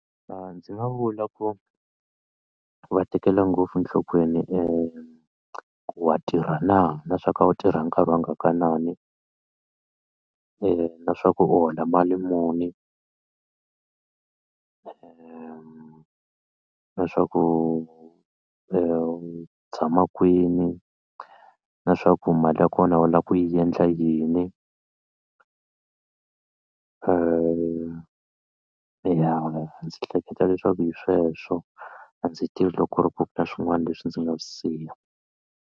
Ndzi nga vula ku va tekela ngopfu enhlokweni ku wa tirha na na swa ku u tirha nkarhi wa ngakanani na swa ku u hola mali muni na swa ku u tshama kwini na swa ku mali ya kona u lava ku yi endla yini ya ndzi hleketa leswaku hi sweswo a ndzi tivi loko ku ri ku na swin'wana leswi ndzi nga siya.